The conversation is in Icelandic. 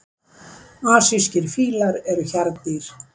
Asískir fílar eru hjarðdýr.